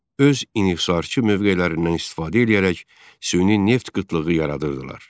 Öz inhisarçı mövqelərindən istifadə eləyərək süni neft qıtlığı yaradırdılar.